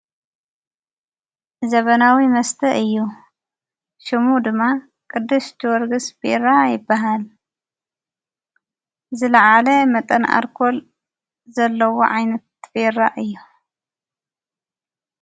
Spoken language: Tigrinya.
ዘበናዊ መስተ እዩ። ሽሙ ድማ ቁድስጅወርግሥ ቤራ ይበሃል። ዝለዓለ መጠን ኣርኮል ዘለዎ ዓይነት ቤራ እዩ።